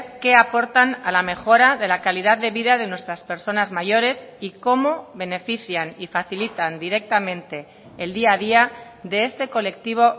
qué aportan a la mejora de la calidad de vida de nuestras personas mayores y cómo benefician y facilitan directamente el día a día de este colectivo